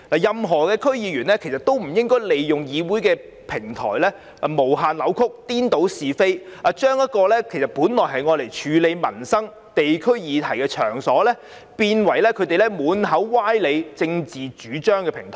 任何區議員均不應利用議會的平台，無限扭曲，顛倒是非，將本來用作處理地區民生議題的場所，變為他們散播歪理和政治主張的平台。